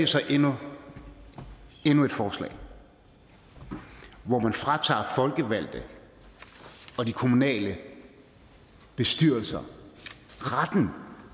så endnu et forslag hvor man fratager folkevalgte og de kommunale bestyrelser retten